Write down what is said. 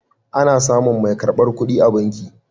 Ana samun mai karbar kuɗi a banki.